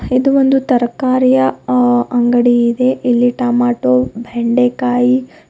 ಇದು ಒಂದು ತರಕಾರಿ ಅ ಅಂಗಡಿಯ ಇದೆ ಇಲ್ಲಿ ಟಮೊಟೊ ಬೆಂಡೆಕಾಯಿ--